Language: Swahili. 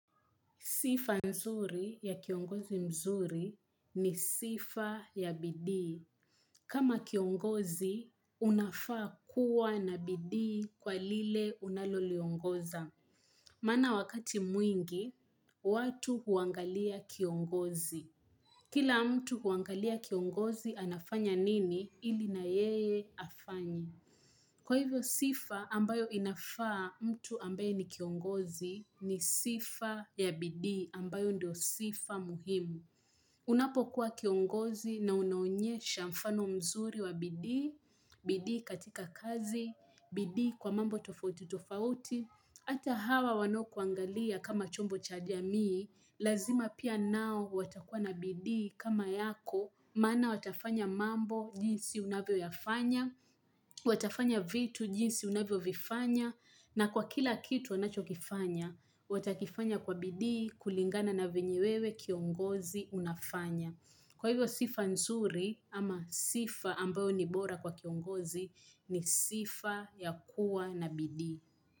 Sifa nzuri ya kiongozi mzuri ni sifa ya bidii. Kama kiongozi, unafaa kuwa na bidii kwa lile unaloliongoza. Maana wakati mwingi, watu huangalia kiongozi. Kila mtu huangalia kiongozi anafanya nini ili na yeye afanye. Kwa hivyo sifa ambayo inafaa mtu ambaye ni kiongozi ni sifa ya bidii, ambayo ndio sifa muhimu. Unapo kuwa kiongozi na unaonyesha mfano mzuri wa bidii, bidii katika kazi, bidii kwa mambo tofauti tofauti, hata hawa wanaokuangalia kama chombo cha jamii, lazima pia nao watakuwa na bidii kama yako, maana watafanya mambo, jinsi unavyo yafanya, watafanya vitu jinsi unavyovifanya, na kwa kila kitu wanacho kifanya watakifanya kwa bidii, kulingana na venye wewe kiongozi unafanya. Kwa hivyo sifa nzuri, ama sifa ambayo ni bora kwa kiongozi ni sifa ya kuwa na bidii.